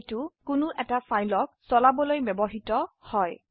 এইটি কোনো ফাইল সকলোৰ বাবে ব্যবহৃত হয়